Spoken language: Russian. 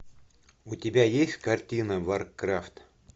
у тебя есть картина варкрафт